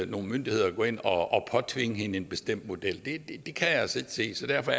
nogle myndigheder at gå ind og påtvinge hende en bestemt model det kan jeg altså ikke se så derfor